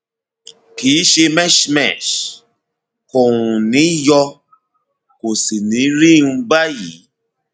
kìí ṣe mesh mesh kò um ní yọ kò sì ní rí um báyìí